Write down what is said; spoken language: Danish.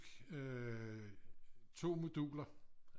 Øh 2 moduler